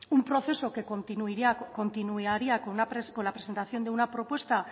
un proceso que continuaría con la presentación de una propuesta